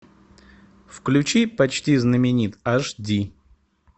включи почти знаменит аш ди